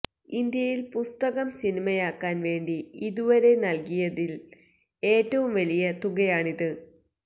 ഇന്ത്യയില് പുസ്തകം സിനിമയാക്കാന് വേണ്ടി ഇതുവരെ നല്കിയതില് ഏറ്റവും വലിയ തുകയാണിത്